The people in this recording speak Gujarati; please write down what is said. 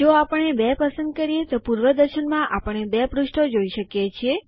જો આપણે 2 પસંદ કરીએ તો પૂર્વદર્શનમાં આપણે 2 પૃષ્ઠો જોઈ શકીએ છીએ